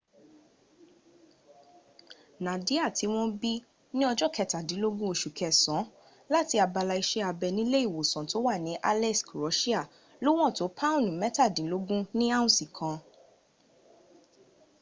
nadia tí wọ́n bí ní ọjọ́ kẹtàdínlógún oṣù kẹsàn án láti abala iṣẹ́ abẹ nílé ìwòsàn tó wà ní aleisk russia lówọn tó pọ́ùn mẹ́tàdínlógún ní áùnsì kan